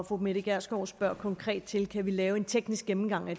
fru mette gjerskov spørger konkret til kan lave en teknisk gennemgang